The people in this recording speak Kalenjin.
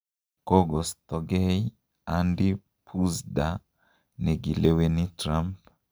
Kogostogei Andy Puzder negileweni Trump.